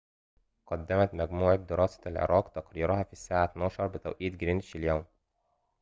قدمت مجموعة دراسة العراق تقريرها في الساعة ١٢:٠٠ بتوقيت جرينتش اليوم